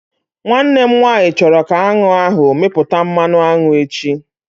Nwanne m nwaanyị chọrọ ka aṅụ ahụ mịpụta mmanụ aṅụ echi